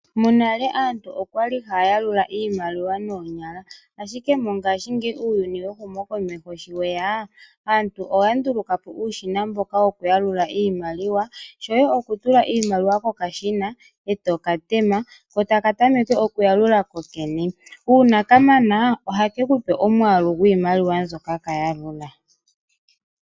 Monale aantu okwali haya yalula iimaliwa noonyala, ashike mongashingeyi muuyuni wehumo komeho shiweya, aantu oyanduluka po uushina mboka wokuyalula iimalia, shoye okutula iimaliwa kokashina e tokatema ko takatameke okuyalula kokene. Uuna kamana oha kekupe omwaalu gwiimaliwa mbyoka kayalula.